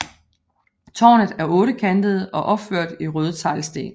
Tårnet er ottekantet og opført i røde teglsten